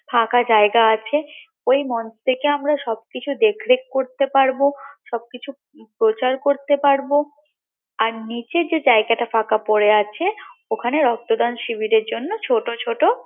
ফাঁকা জায়গা আছে ঐ মঞ্চ থেকে আমরা সবকিছু দেখ দেখ করতে পারবো সবকিছু প্রচার করতে পারবো আর নিচে যে জায়গাটা ফাঁকা পরে আছে ওখানে রক্তদান শিবিরের জন্য ছোট ছোট